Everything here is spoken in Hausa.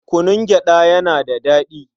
Kunun gyaɗa yana da daɗi.